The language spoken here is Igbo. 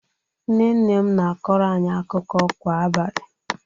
Nne nne m na-akọrọ anyị akụkọ kwa abalị